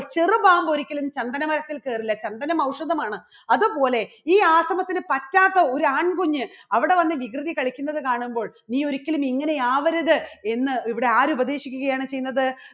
ചെറുപാമ്പ് ഒരിക്കലും ചന്ദനമരത്തിൽ കയറില്ല ചന്ദനം ഔഷധമാണ് അതുപോലെ ഈ ആശ്രമത്തിന് പറ്റാത്ത ഒരു ആൺകുഞ്ഞ് അവിടെ വന്ന് വികൃതി കളിക്കുന്നത് കാണുമ്പോൾ നീ ഒരിക്കലും ഇങ്ങനെ ആവരുത് എന്ന് ഇവിടെ ആരു പ്രതീക്ഷിക്കുകയാണ് ചെയ്യുന്നത്?